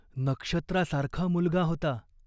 नक्षत्रासारखा मुलगा होता.